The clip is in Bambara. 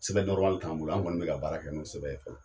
Sɛbɛn t'an bolo, an kɔni bɛ ka baara kɛ n'o sɛbɛn ye fɔlɔ.